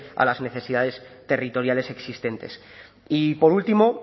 a las necesidades territoriales existentes y por último